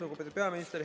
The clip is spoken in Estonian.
Lugupeetud peaminister!